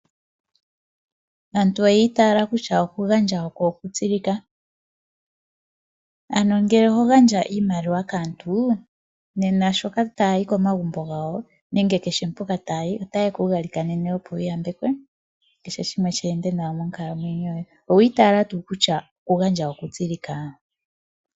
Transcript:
Aantu oyiitala kusha okugandja oko okutsilika. Ano ngele oho gandja iimaliwa kaantu nena shoka taayi komagumbo gawo nenge keshe mpoka taayi otayeku galikanene opo wuyambekwe keshe shimwe sheende nawa monkalamwenyo yoye. Owiitala tuu kusha okugandja okutsilika?